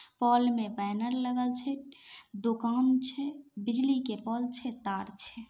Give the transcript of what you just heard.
Hall में लगल छै दुकान छै बिजली के पोल छै तार छै।